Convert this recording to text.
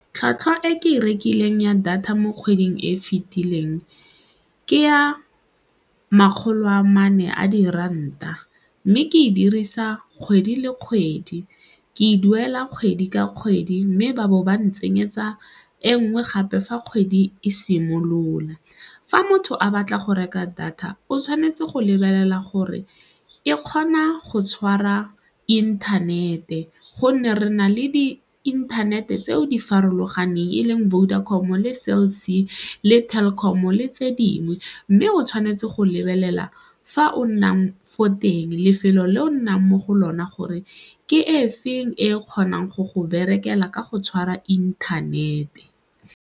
Tlhwatlhwa e ke e rekileng ya data mo kgweding e e fetileng ke ya makgolo a mane a diranta mme ke e dirisa kgwedi le kgwedi ke e duela kgwedi ka kgwedi mme ba bo ba ntsenyetsa e nngwe gape fa kgwedi e simolola. Fa motho a batla go reka data, o tshwanetse go lebelela gore e kgona go tshwara inthanete gonne re na le diinthanete tseo di farologaneng e leng Vodacom-o le Cell C le Telkom-o le tse dingwe mme o tshwanetse go lebelela fa o nnang fo teng lefelo le o nnang mo go lona gore ke e feng e kgonang go go berekela ka go tshwara inthanete.